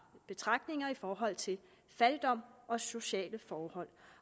betragtninger i forhold til fattigdom og sociale forhold